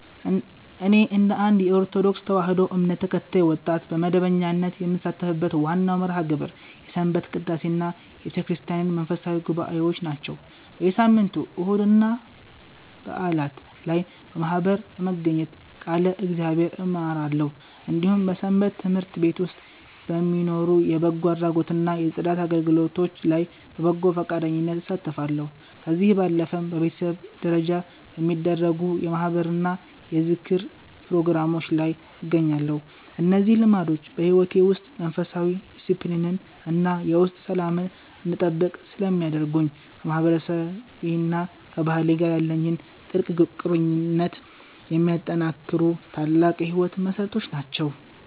እኔ እንደ አንድ የኦርቶዶክስ ተዋሕዶ እምነት ተከታይ ወጣት፣ በመደበኛነት የምሳተፍበት ዋናው መርሃ ግብር የሰንበት ቅዳሴና የቤተክርስቲያን መንፈሳዊ ጉባኤዎች ናቸው። በየሳምንቱ እሁድና በዓላት ላይ በማኅበር በመገኘት ቃለ እግዚአብሔርን እማራለሁ፤ እንዲሁም በሰንበት ትምህርት ቤት ውስጥ በሚኖሩ የበጎ አድራጎትና የጽዳት አገልግሎቶች ላይ በበጎ ፈቃደኝነት እሳተፋለሁ። ከዚህ ባለፈም በቤተሰብ ደረጃ በሚደረጉ የማኅበርና የዝክር ፕሮግራሞች ላይ እገኛለሁ። እነዚህ ልምዶች በሕይወቴ ውስጥ መንፈሳዊ ዲስፕሊንን እና የውስጥ ሰላምን እንድጠብቅ ስለሚያደርጉኝ፣ ከማህበረሰቤና ከባህሌ ጋር ያለኝን ጥልቅ ቁርኝት የሚያጠናክሩ ታላቅ የሕይወቴ መሠረቶች ናቸው።